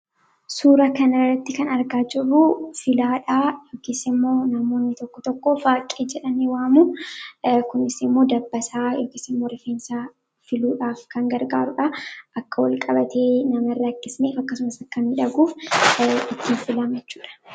suura kan irratti kan argaa jirruu filaadhaa yokisimoo namoonni tokko tokko faaqii jedhan waamu kunisimoo dabbasaa yokisimoo refeensaa filuudhaaf kan gargaaruudha akka wal qabatee nama rra akkismeef akkasumas akkan midhaguufittiin filamechuudha